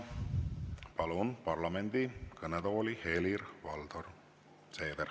Palun parlamendi kõnetooli Helir-Valdor Seederi.